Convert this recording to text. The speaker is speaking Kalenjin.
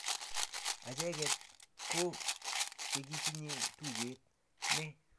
acheket ko chekitinye tuget, nee!